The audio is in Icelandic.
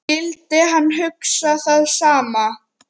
Skyldi hann hugsa það sama?